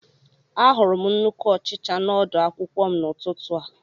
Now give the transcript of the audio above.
Ahụrụ m nnukwu ọchịcha n'ọdu akwụkwọ m n'ụtụtụ a